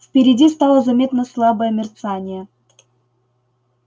впереди стало заметно слабое мерцание